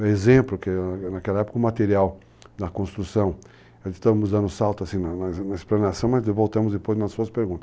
Um exemplo que, naquela época, o material da construção, estamos dando salto assim na na explanação, mas voltamos depois nas suas perguntas.